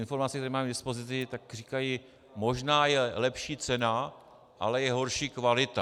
Informace, které mám k dispozici, říkají, že možná je lepší cena, ale je horší kvalita.